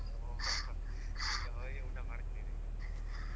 ಹೋ